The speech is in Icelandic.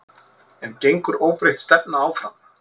En gengur óbreytt stefna áfram?